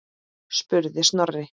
spurði Snorri.